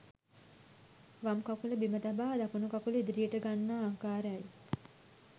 වම් කකුල බිම තබා දකුණු කකුල ඉදිරියට ගන්නා ආකාරයි